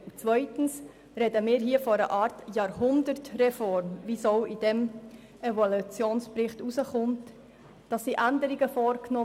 Zweitens sprechen wir hier von einer Art Jahrhundertreform, was auch aus diesem Evaluationsbericht hervorgeht.